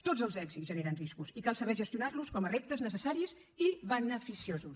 tots els èxits generen riscos i cal saber gestionar los com a reptes necessaris i beneficiosos